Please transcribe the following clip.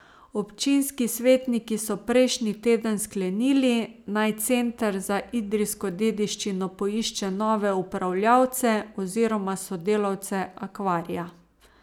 Občinski svetniki so prejšnji teden sklenili, naj Center za idrijsko dediščino poišče nove upravljavce oziroma sodelavce akvarija.